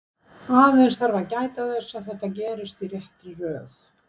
Aðeins þarf að gæta þess að þetta gerist í réttri röð.